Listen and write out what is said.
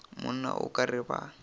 monna o ka re ba